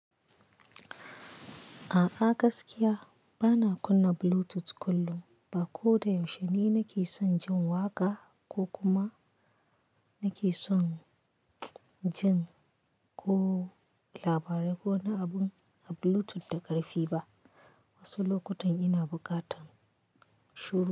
A'a gaskiya bana kunna Bluetooth kullum, ba ko da yaushe ni nake son jin waƙa ko kuma nake son jin ko labarai ko na abun a Bluetooth da ƙarfi ba. Wasu lokutan ina buƙatan shiru.